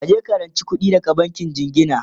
kaje ka ranci kuɗi daga bankin jingina!